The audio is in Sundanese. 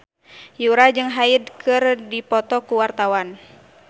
Yura jeung Hyde keur dipoto ku wartawan